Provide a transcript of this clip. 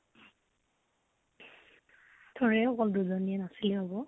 থোৰে অকল দুজনীয়ে নাচিলে হব?